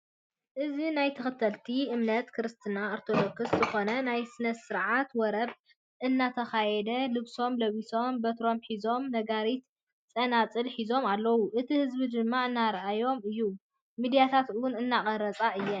እዚ ናይ ተከተልቲ እምነት ክርስትና ኦርቶዶክስ ዝኮነ ናይ ስነሰርዓት ወረብ እናካየዱ ልብሶም ለቢሶም በትሮም ሒዞም ነጋሪት፣ ፀናፅል ሒዞም ኣለዉ። እቲ ህዝቢ ድማ እናረኣዮም እዩ ሚድያታት እውን እና ቀረፃ እየን።